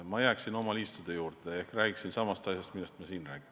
Ma jääksin oma liistude juurde ehk räägiksin samast asjast, millest ma siin räägin.